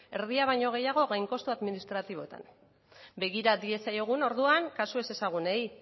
erdia baino gehiago gain kostu administratiboetan begira diezaiogun orduan kasu ezezagunei